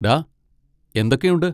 ഡാ, എന്തൊക്കെയുണ്ട്?